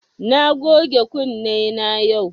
Na goge kunne na yau